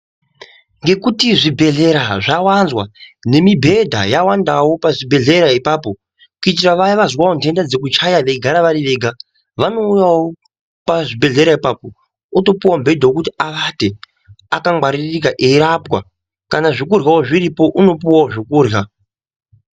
Nekuti zvibhedhlera zvawanzwa nemibhedha yawanzwawo pazvibhedhlera ipapo kuitira Vaya vazwa ndenda dzekuchaya veigara vari Vega vanouyawo pazvibhedhlera ipapo votopuwawo mubedha wekuti avate akangwaririka kana zvekurya zviripo anopuwawo zvokurya.